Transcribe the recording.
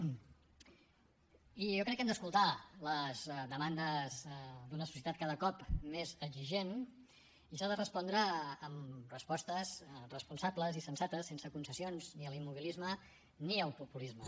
i jo crec que hem d’escoltar les demandes d’una societat cada cop més exigent i s’ha de respondre amb respostes responsables i sensates sense concessions ni a l’immobilisme ni al populisme